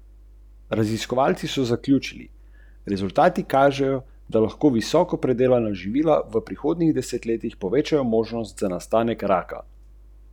V službo ste šli šele potem, ko vam ni več dajal nobenega denarja, zato imate komaj petindvajset let delovne dobe.